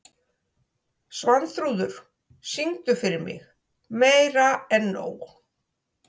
Svanþrúður, syngdu fyrir mig „Meira En Nóg“.